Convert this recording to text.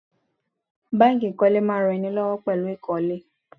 Báńkì ìkólé ń máa ran ẹni lọ́wọ́ pẹ̀lú ìkólé.